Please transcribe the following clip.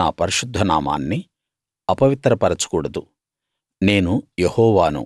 నా పరిశుద్ధ నామాన్ని అపవిత్ర పరచకూడదు నేను యెహోవాను